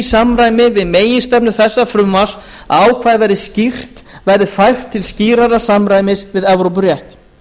samræmi við meginstefnu þessa frumvarps að ákvæðið verði fært til skýrara samræmis við evrópurétt